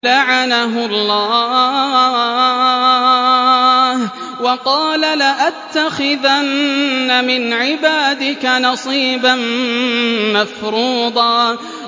لَّعَنَهُ اللَّهُ ۘ وَقَالَ لَأَتَّخِذَنَّ مِنْ عِبَادِكَ نَصِيبًا مَّفْرُوضًا